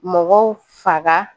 Mɔgɔw faga